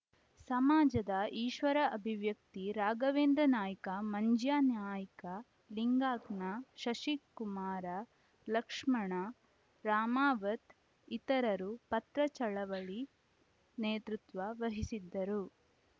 ಸಮಾಜದ ಈಶ್ವರ ಅಭಿವ್ಯಕ್ತಿ ರಾಘವೇಂದ್ರ ನಾಯ್ಕ ಮಂಜ್ಯಾನಾಯ್ಕ ಲಿಂಗಾನ್ಕಾ ಶಶಿಕುಮಾರ ಲಕ್ಷ್ಮಣ ರಾಮಾವತ್‌ ಇತರರು ಪತ್ರ ಚಳವಳಿ ನೇತೃತ್ವ ವಹಿಸಿದ್ದರು